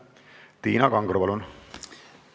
Tiina Kangro, palun!